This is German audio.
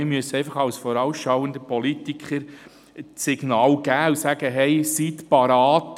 Wir müssen als vorausschauende Politiker das Signal aussenden und sagen: «Seien Sie bereit: